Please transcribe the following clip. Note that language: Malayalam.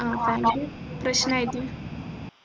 ആ family പ്രശ്നായിരുന്നു